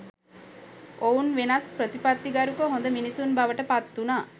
ඔවුන් වෙනස් ප්‍රතිපත්තිගරුක හොඳ මිනිසුන් බවට පත්වුණා